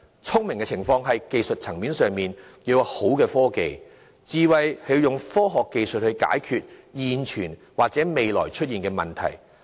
聰明是指在技術層面上，要有好的科技；智慧則是應用科學技術去解決現存及未來可能會出現的問題。